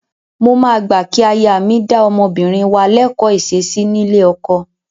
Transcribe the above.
Mo máa gbà kí aya mi dá ọmọbìnrin wa lẹ́kọ̀ọ́ ìṣesí nílé ọkọ.